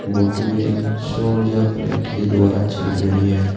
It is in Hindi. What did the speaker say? वोटुवेल सौ ऊर्जा प्लेट के द्वारा चल रही है।